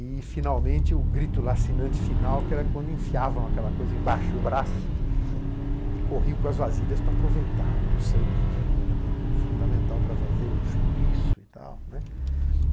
E, finalmente, o grito lacinante final, que era quando enfiavam aquela coisa embaixo do braço né e corriam com as vasilhas para aproveitar o sangue, que era um elemento fundamental para fazer o chouriço e tal, né.